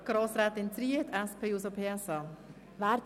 – Als nächste Einzelsprecherin hat Grossrätin Zryd das Wort.